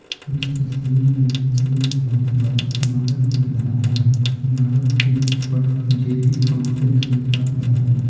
इस तस्वीर में एक बहुत बड़ा इमारत दिख रहा है इमारत के ऊपर जेपी कॉम्प्लेक्स लिखा हुआ है।